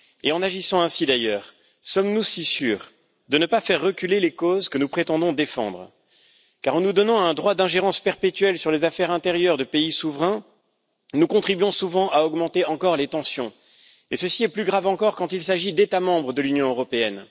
Et en agissant ainsi, d'ailleurs, sommes nous si sûrs de ne pas faire reculer les causes que nous prétendons défendre? Car en nous donnant un droit d'ingérence perpétuel sur les affaires intérieures de pays souverains, nous contribuons souvent à augmenter encore les tensions, et ceci est plus grave encore quand il s'agit d'États membres de l'Union européenne.